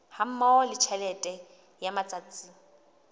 hammoho le tjhelete ya matsatsi